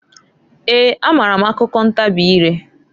Eeǃ A maara m akụkọ ntabị ireǃ